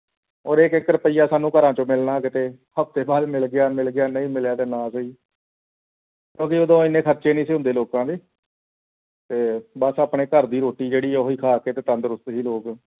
ਔਰ ਇੱਕ ਇੱਕ ਰੂਪੀਆ ਸਾਨੂੰ ਘਰਾਚੋਂ ਮੇਲਾ ਕਿਥੇ ਹਫ਼ਤੇ ਬਾਅਦ ਮਿਲ ਗਿਆ ਮਿਲ ਗਿਆ ਨਹੀਂ ਮਿਲਿਆ ਤੇ ਨਾ ਸਹੀ ਅਜਿਹੇ ਓਦੋਂ ਇੰਨੇ ਖਰਚੇ ਨਹੀਂ ਸੀ ਹੁੰਦੇ ਸੀ ਲੋਕਾਂ ਦੇ ਤੇ ਬੱਸ ਆਪਣੇ ਘਰ ਦੀ ਰੋਟੀ ਜਿਹੜੀ ਹੈ ਉਹ ਹੀ ਖਾ ਕੇ ਤੇ ਤੰਦਰੁਸਤੀ ਸੀ ਲੋਕ